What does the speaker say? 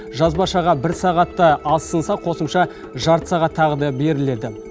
жазбашаға бір сағатты азсынса қосымша жарты сағат тағы да беріледі